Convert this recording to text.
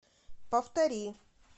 повтори